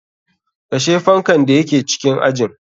Kashe fankan da yake cikin ajin.